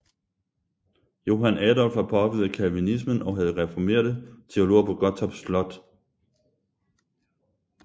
Johan Adolf var påvirket af calvinismen og havde reformerte teologer på Gottorp Slot